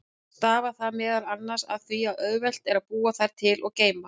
Stafar það meðal annars af því að auðvelt er að búa þær til og geyma.